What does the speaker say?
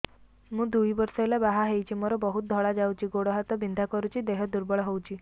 ମୁ ଦୁଇ ବର୍ଷ ହେଲା ବାହା ହେଇଛି ମୋର ବହୁତ ଧଳା ଯାଉଛି ଗୋଡ଼ ହାତ ବିନ୍ଧା କରୁଛି ଦେହ ଦୁର୍ବଳ ହଉଛି